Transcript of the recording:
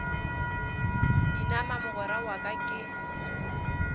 inama mogwera wa ka ke